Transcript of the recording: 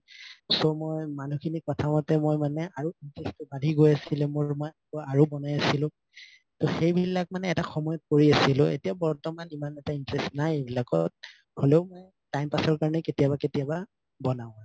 so মই মানুহখিনি কথা মতে মই আৰু বাঢ়ি গৈ আছিলে আৰু মানে ) ত সেইবিলাক মানে এটা সময়ত কৰি আছিলো এতিয়া বৰ্তমান সিমান এটা interest নাই এইবিলাকত হলে মানে time pass ৰ কাৰণে কেতিয়াবা কেতিয়াবা বনাও